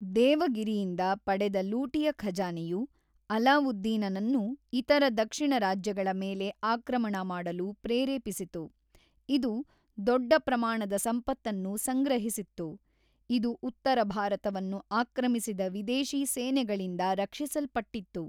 ದೇವಗಿರಿಯಿಂದ ಪಡೆದ ಲೂಟಿಯ ಖಜಾನೆಯು ಅಲಾವುದ್ದೀನನನ್ನು ಇತರ ದಕ್ಷಿಣ ರಾಜ್ಯಗಳ ಮೇಲೆ ಆಕ್ರಮಣ ಮಾಡಲು ಪ್ರೇರೇಪಿಸಿತು, ಇದು ದೊಡ್ಡ ಪ್ರಮಾಣದ ಸಂಪತ್ತನ್ನು ಸಂಗ್ರಹಿಸಿತ್ತು, ಇದು ಉತ್ತರ ಭಾರತವನ್ನು ಆಕ್ರಮಿಸಿದ ವಿದೇಶಿ ಸೇನೆಗಳಿಂದ ರಕ್ಷಿಸಲ್ಪಟ್ಟಿತ್ತು.